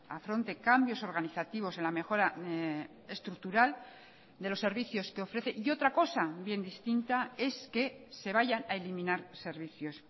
afronte cambios organizativos en la mejora estructural de los servicios que ofrece y otra cosa bien distinta es que se vayan a eliminar servicios